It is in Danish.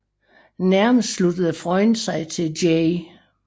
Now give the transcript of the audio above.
Nærmest sluttede Freund sig til J